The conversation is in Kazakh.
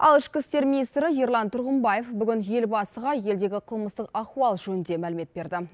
ал ішкі істер министрі ерлан тұрғымбаев бүгін елбасыға елдегі қылмыстық ахуал жөнінде мәлімет берді